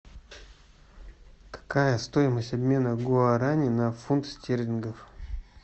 какая стоимость обмена гуарани на фунт стерлингов